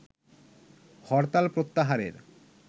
হরতাল প্রত্যাহারের